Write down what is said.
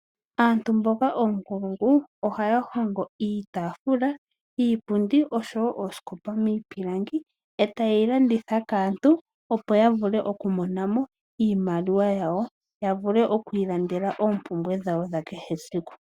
Aantu mboka oonkulungu ohaya hongo iitafula, iipundi oshowo oosikopa miipilangi. Eta yeyi landitha kaantu opo ya vule oku mona mo iimaliwa yawo, ya vule oku ilandela oompumbwe dhawo dha kehe esiku.